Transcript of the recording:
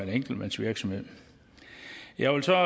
en enkeltmandsvirksomhed jeg vil så